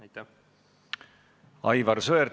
Aivar Sõerd, palun!